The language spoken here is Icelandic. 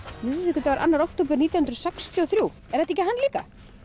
miðvikudagur annan október nítján hundruð sextíu og þrjú er þetta ekki hann líka